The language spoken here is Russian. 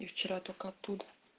я вчера только оттуда